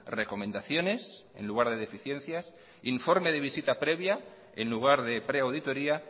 recomendaciones en lugar de deficiencias informe de visita previa en lugar de preauditoría